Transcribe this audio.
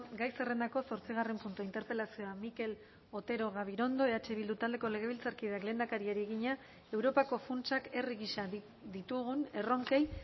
gai zerrendako zortzigarren puntua interpelazioa mikel otero gabirondo eh bildu taldeko legebiltzarkideak lehendakariari egina europako funtsak herri gisa ditugun erronkei